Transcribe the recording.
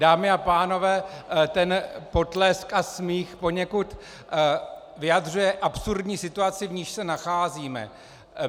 Dámy a pánové, ten potlesk a smích poněkud vyjadřuje absurdní situaci, v níž se nacházíme.